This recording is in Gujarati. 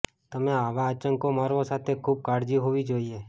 તમે આવા આંચકો મારવો સાથે ખૂબ કાળજી હોવી જોઇએ